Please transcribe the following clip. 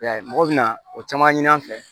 I y'a ye mɔgɔw bɛna o caman ɲini an fɛ